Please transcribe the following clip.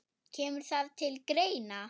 Kemur það til greina?